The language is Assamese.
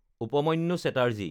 উপমান্যু চেটাৰ্জী